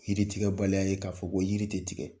Yiri tigɛbaliya ye k'a fɔ ko yiri tɛ tigɛ